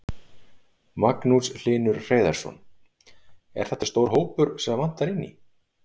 Magnús Hlynur Hreiðarsson: Er þetta stór hópur sem vantar inn í?